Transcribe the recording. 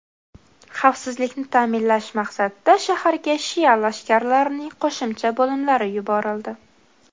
Xavfsizlikni ta’minlash maqsadida shaharga shia lashkarlarining qo‘shimcha bo‘limlari yuborildi.